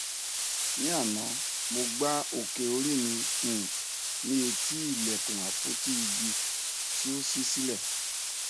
ní àná mo gbá òkè orí mi um ní etí ilẹkùn àpótí igi tí ó ṣí sílẹ